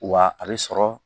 Wa a bɛ sɔrɔ